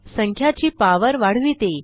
संख्याची power वाढविते